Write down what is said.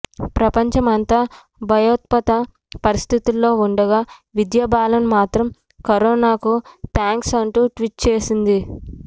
ప్రపంచ అంతా భయోత్పాత పరిస్థితుల్లో ఉండగా విద్యా బాలన్ మాత్రం కరోనా కు థ్యాంక్స్ అంటూ ట్వీట్ చేసింది